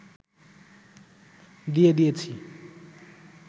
দিয়ে দিয়েছি